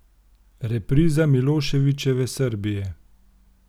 Repriza Miloševičeve Srbije?